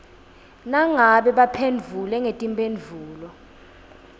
nangabe baphendvule ngetimphendvulo